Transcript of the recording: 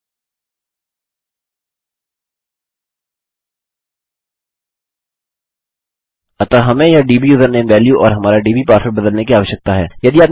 अतः हमें यह डब्यूजरनेम वैल्यू और हमारा डीबीपासवर्ड बदलने की आवश्यकता है